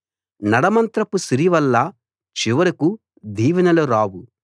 నడమంత్రపు సిరి వల్ల చివరకూ దీవెనలు రావు